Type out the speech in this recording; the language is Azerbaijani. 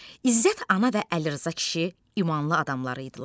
İzzət ana və Əlirza kişi imanlı adam idilər.